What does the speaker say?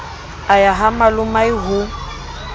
a ya ha malomae ho